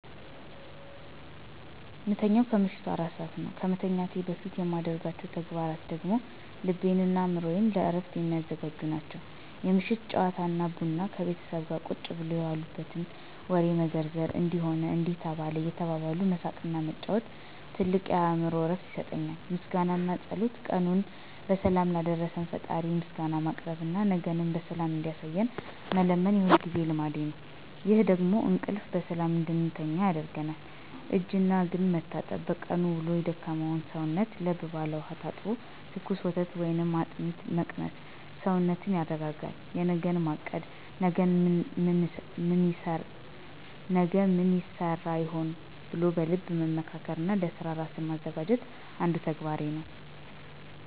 ምተኛው ከምሽቱ 4 ነው ከመተኛቴ በፊት የማደርጋቸው ተግባራት ደግሞ ልቤንና አእምሮዬን ለዕረፍት የሚያዘጋጁ ናቸው፦ የምሽት ጨዋታና ቡና፦ ከቤተሰብ ጋር ቁጭ ብሎ የዋሉበትን ወሬ መዘርዘር፣ "እንዲህ ሆነ፣ እንዲያ ተባለ" እየተባባሉ መሳቅና መጫወት ትልቅ የአእምሮ እረፍት ይሰጠኛል። ምስጋናና ጸሎት፦ ቀኑን በሰላም ላሳደረን ፈጣሪ ምስጋና ማቅረብና ነገንም በሰላም እንዲያሳየን መለመን የሁልጊዜ ልማዴ ነው። ይሄ ደግሞ እንቅልፍ በሰላም እንድተኛ ያደርገኛል። እጅና እግርን መታጠብ፦ በቀኑ ውሎ የደከመውን ሰውነት ለብ ባለ ውሃ ታጥቦ ትኩስ ወተት ወይም "አጥሚት" መቅመስ ሰውነትን ያረጋጋል። የነገን ማቀድ፦ "ነገ ምን ይሰራ ይሆን?" ብሎ በልብ መመካከርና ለሥራ ራስን ማዘጋጀትም አንዱ ተግባሬ ነው።